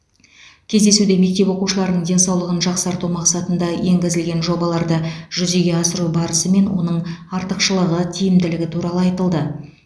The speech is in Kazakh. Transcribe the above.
кездесуде мектеп оқушыларының денсаулығын жақсарту мақсатында енгізілген жобаларды жүзеге асыру барысы мен оның артықшылығы тиімділігі туралы айтылды